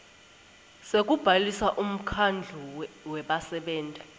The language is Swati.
sekubhalisa umkhandlu webasebenti